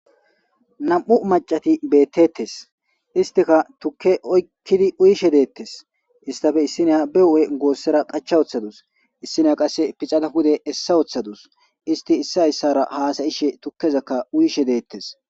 Nam'u macati beettettes istika tukke oykkidi uyishe deettes istafe issiniya be hu'e goossera qacha woththadus issinia qasse picadawude essa wooththadus isti issa hyssara haasayishe tukkezakka uyishe deettes.